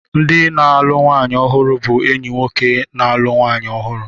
Ndị na-alụ nwanyị ọhụrụ bụ enyi nwoke na-alụ nwanyị ọhụrụ.